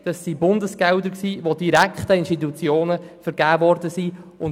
Dies waren Bundesgelder, die direkt an Institutionen vergeben worden sind.